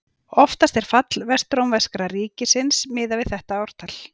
Oftast er fall Vestrómverska ríkisins miðað við þetta ártal.